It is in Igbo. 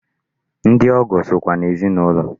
Ndị ọgọ sokwa n'ezinụlọ.